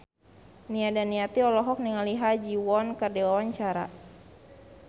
Nia Daniati olohok ningali Ha Ji Won keur diwawancara